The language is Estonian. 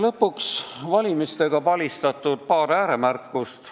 Lõpuks paar valimistega palistatud ääremärkust.